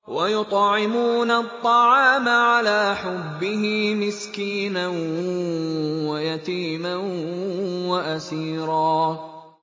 وَيُطْعِمُونَ الطَّعَامَ عَلَىٰ حُبِّهِ مِسْكِينًا وَيَتِيمًا وَأَسِيرًا